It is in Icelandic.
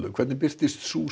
hvernig birtist sú